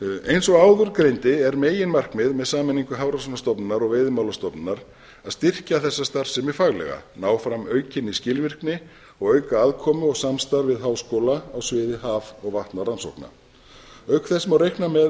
eins og áður greindi er meginmarkmið með sameiningu hafrannsóknastofnunar og veiðimálastofnunar að styrkja þessa starfsemi faglega ná frá aukinni skilvirkni og auka aðkomu og samstarf við háskóla á sviði haf og vatnarannsókna auk þess má reikna með